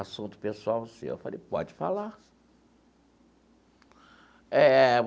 Assunto pessoal seu, eu falei, pode falar. Eh.